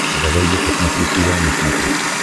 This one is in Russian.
давай я посмотрю курай на смотрешке